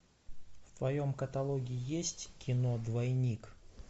в твоем каталоге есть кино двойник